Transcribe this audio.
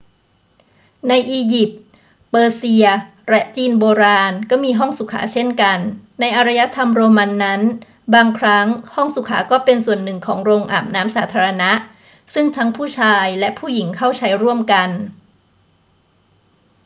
ในอียิปต์ เปอร์เซีย และจีนโบราณก็มีห้องสุขาเช่นกัน ในอารยธรรมโรมันนั้น บางครั้งห้องสุขาก็เป็นส่วนหนึ่งของโรงอาบน้ำสาธารณะซึ่งทั้งผู้ชายและผู้หญิงเข้าใช้ร่วมกัน